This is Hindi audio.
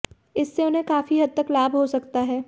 इससे उन्हें काफी हद तक लाभ हो सकता है